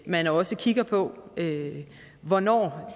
man også kigger på hvornår